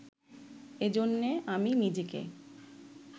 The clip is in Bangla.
এজন্যে আমি নিজেকে